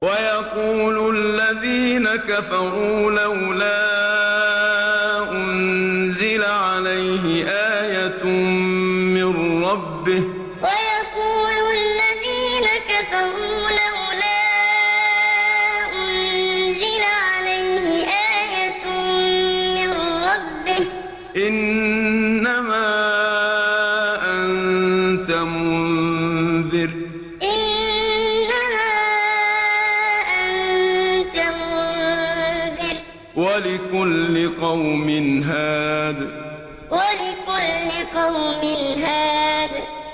وَيَقُولُ الَّذِينَ كَفَرُوا لَوْلَا أُنزِلَ عَلَيْهِ آيَةٌ مِّن رَّبِّهِ ۗ إِنَّمَا أَنتَ مُنذِرٌ ۖ وَلِكُلِّ قَوْمٍ هَادٍ وَيَقُولُ الَّذِينَ كَفَرُوا لَوْلَا أُنزِلَ عَلَيْهِ آيَةٌ مِّن رَّبِّهِ ۗ إِنَّمَا أَنتَ مُنذِرٌ ۖ وَلِكُلِّ قَوْمٍ هَادٍ